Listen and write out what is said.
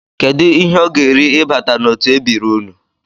Kedụ ihe ọ ga-eri ịbata n'otu ebiri unu?